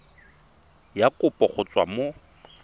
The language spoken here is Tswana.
ya kopo go tswa mo